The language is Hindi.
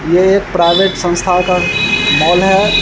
ये प्राइवेट संस्था का मॉल है ।